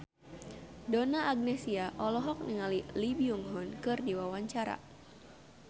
Donna Agnesia olohok ningali Lee Byung Hun keur diwawancara